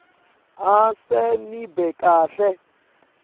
ase nibe kahle